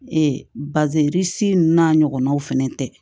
Ee bazɛn n'a ɲɔgɔnnaw fɛnɛ tɛ